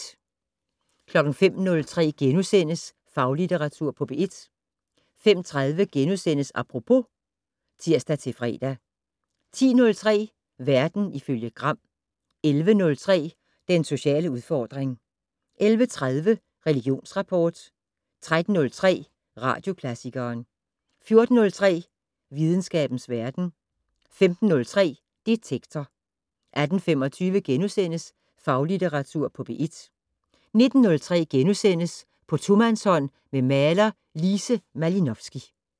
05:03: Faglitteratur på P1 * 05:30: Apropos *(tir-fre) 10:03: Verden ifølge Gram 11:03: Den sociale udfordring 11:30: Religionsrapport 13:03: Radioklassikeren 14:03: Videnskabens verden 15:03: Detektor 18:25: Faglitteratur på P1 * 19:03: På tomandshånd med maler Lise Malinovski *